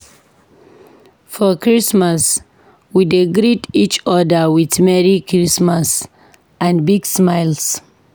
For Christmas, we dey greet each other with "Merry Christmas" and big smiles.